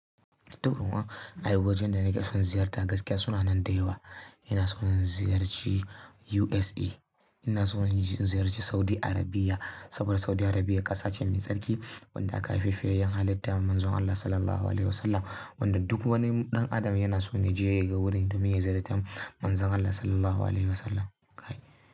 Durun'uwa, ay wajan da nake son ziyarta gaskiya suna nan da yawa. Ina son ziyarci USA. Ina son in ziyarci Saudi Arabia saboda Saudi Arabia ƙasa ce mai tsarki wadda aka haife fi yayyen halitta Manzon Allah Sallallahu Alaihi Wasallam wanda duk wani ɗan adam yana so ya je ga wurin domin ya ziyarci Manzon Allah Sallallahu Alaihi Wasallam.